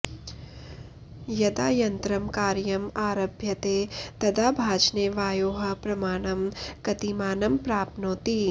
यदा यन्त्रं कार्यम् आरभ्यते तदा भाजने वायोः प्रमाणं कतिमानं प्राप्नोति